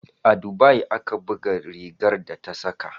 A dubai ake buga rigar da ta saka.